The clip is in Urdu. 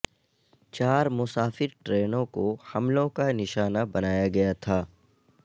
چار مسافر ٹرینوں کو حملوں کا نشانہ بنایا گیا تھا